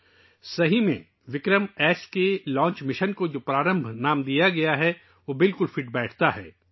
یقینی طور پر، ' وکرمایس ' کے لانچنگ مشن کو جو نام ' پرارمبھ ' دیا گیا ہے، وہ پوری طرح اس سے میل کھاتا ہے